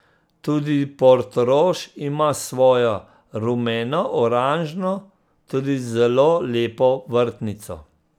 Tudi Portorož ima svojo, rumenooranžno, tudi zelo lepo vrtnico.